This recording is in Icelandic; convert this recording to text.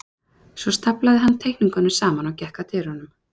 Svo staflaði hann teikningunum saman og gekk að dyrunum.